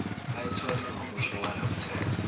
bayithole ngokusho kwalomthetho